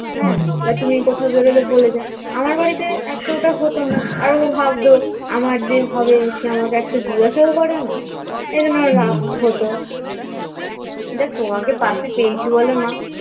হ্যাঁ তুমি কোথাও বেরোলে বলে যাও আমার বাড়িতে এতটা হতো না আর ও ভাবতো আমার যে হবে সে একটা আমাকে জিজ্ঞাসাও করে না এইজন্য রাগ হতো যাক তোমাকে পাশে পেয়েছি বলে মা